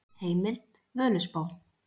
Heimild: Völuspá.